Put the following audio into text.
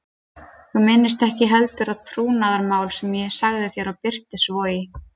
Þú minnist ekki heldur á trúnaðarmál sem ég sagði þér og birtist svo í